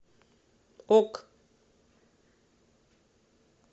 ок